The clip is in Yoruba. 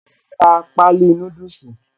Màá ra páálí núdùsì